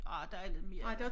Ah der er lidt mere